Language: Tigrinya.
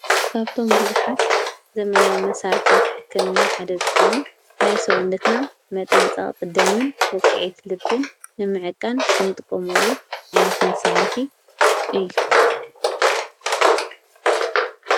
ካብቶም ብዙኃት ዘመናዊ መሣርሕታት ሕከምና ሓደ ዝኾነን ናይ ሰዉነትና መጠን ጸቕጥ ደምን ወቕዕት ልብን ንምዕቃን ንጥቆመሉ ዓይነት መሣርሒ እዩ፡፡